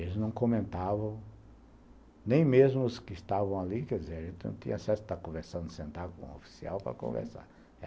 Eles não comentavam, nem mesmo os que estavam ali, quer dizer, a gente não tinha acesso a estar conversando, sentar com um oficial para conversar.